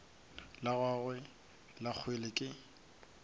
la gagwe la kgwele ke